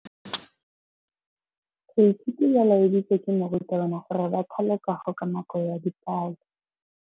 Baithuti ba laeditswe ke morutabana gore ba thale kagô ka nako ya dipalô.